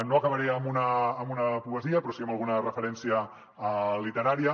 no acabaré amb una poesia però sí amb alguna referència literària